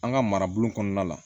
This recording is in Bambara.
An ka marabolo kɔnɔna la